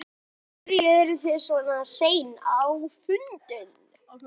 Lillý: Af hverju eru þið svona sein á fundin?